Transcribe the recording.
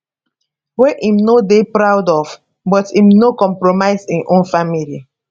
wey im no dey proud of but im no compromise im own family